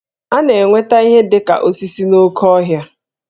A na-enweta ihe dị ka osisi n'oké ọhịa